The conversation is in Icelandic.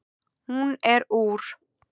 Hún er úr